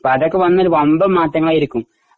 അതൊക്കെ വന്നാൽ ഒരു വമ്പൻ മാറ്റമായിരിക്കും